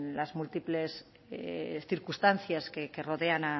las múltiples circunstancias que rodean